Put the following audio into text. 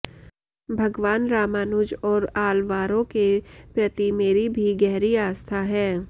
भगवान रामानुज और आलवारों के प्रति मेरी भी गहरी आस्था है